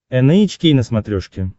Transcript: эн эйч кей на смотрешке